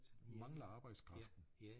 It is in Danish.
Mangler arbejdskraften